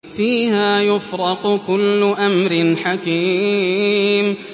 فِيهَا يُفْرَقُ كُلُّ أَمْرٍ حَكِيمٍ